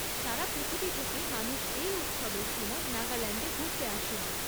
সারা পৃথিবী থেকে মানুষ এই উৎসবের সময় নাগাল্যান্ডে ঘুরতে আসেন।